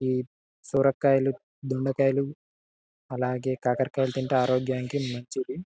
ఈ సొరకాయలు దొండకాయలు దొండకాయలు అలాగే కాకరకాయలు తింటే ఆరోగ్యానికి మంచిది.